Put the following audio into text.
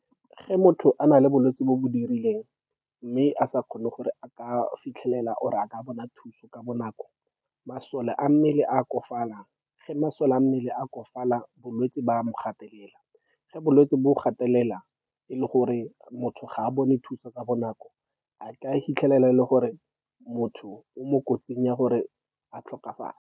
Ge motho a na le bolwetse bo bo dirileng, mme a sa kgone gore a ka fitlhelela, or-e a ka bona thuso ka bonako, masole a mmele a okofalang. Ge masole a mmele a okofala, bolwetse bo a mo gatelela. Ge bolwetse bo gatelela, e le gore motho ga a bone thuso ka bonako, a tla fitlhelela e le gore motho o mo kotsing ya gore a tlhokafala.